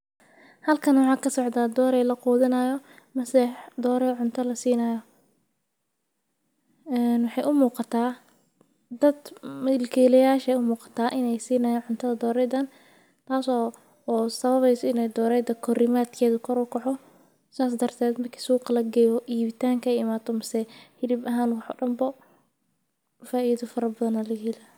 Halkani waxaa kasocda dorey laqudhinayo mase dorey wax lasinayo ee waxee u muqataa dad milkilayal aya wax sinayan hilib ahan iyo wax dan bo faidha aya laga helaya sas ayan ku qiyasi karaa waxaan udiyaariyaa sifiicaan o latacasho.